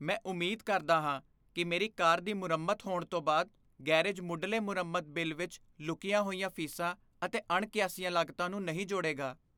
ਮੈਂ ਉਮੀਦ ਕਰਦਾ ਹਾਂ ਕਿ ਮੇਰੀ ਕਾਰ ਦੀ ਮੁਰੰਮਤ ਹੋਣ ਤੋਂ ਬਾਅਦ ਗੈਰੇਜ ਮੁੱਢਲੇ ਮੁਰੰਮਤ ਬਿੱਲ ਵਿੱਚ ਲੁਕੀਆਂ ਹੋਈਆਂ ਫ਼ੀਸਾਂ ਅਤੇ ਅਣਕਿਆਸੀਆਂ ਲਾਗਤਾਂ ਨੂੰ ਨਹੀਂ ਜੋੜੇਗਾ।